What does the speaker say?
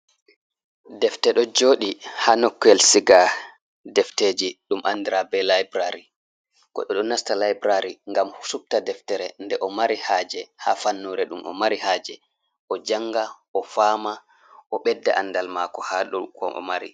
Defte ɗo jooɗi haa nukkuyel siga defteeji, ɗum andira layburari. Goɗɗo ɗo nasta layburari ngam o supta deftere nde o mari haaje, haa fannure ɗum o mari haaje, o janga, o faama, o ɓedda andal maako haa ɗum ko o mari.